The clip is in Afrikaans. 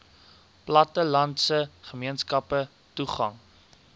plattelandse gemeenskappe toegang